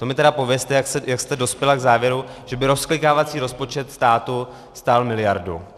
To mi teda povězte, jak jste dospěla k závěru, že by rozklikávací rozpočet státu stál miliardu.